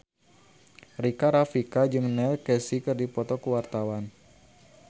Rika Rafika jeung Neil Casey keur dipoto ku wartawan